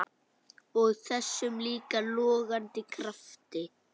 Og þessum líka logandi krafti.